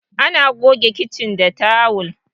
ana goge kicin ta tawul